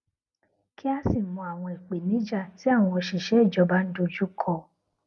kí á sì mọ àwọn ìpèníjà tí àwọn òṣìṣẹ ìjọba ń dojú kọ